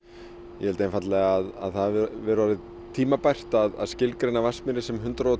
ég held það hafi verið orðið tímabært að skilgreina Vatnsmýri sem hundrað og